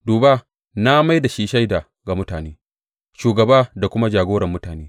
Duba, na mai da shi shaida ga mutane, shugaba da kuma jagorar mutane.